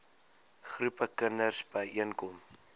groepe kinders byeenkom